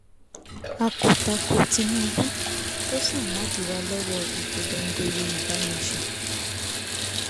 a kò takò tinubu kó ṣáà má díwà lọ́wọ́ ìpolongo yorùbá nation